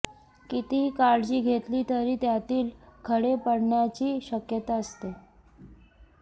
कितीही काळजी घेतली तरी त्यातील खडे पडण्याची शक्यता असते